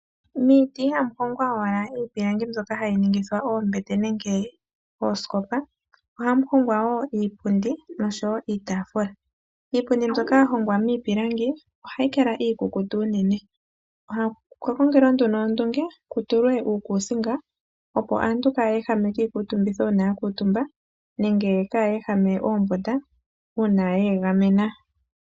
Miiti ihamu hongwa owala iipilangi mbyoka hayi ningithwa oombete nenge oosikopa, ohamu hongwa wo iipundi nosho wo iitaafula. Iipundi mbyoka ya hongwa miipilangi ohayi kala iikukutu unene. Okwa kongelwa nduno ondunge ku tulwe uukuusinga, opo aantu kaya ehame kiikuutumbitho uuna ya kuutumba nenge kaaye ehame oombunda uuna ye egamena.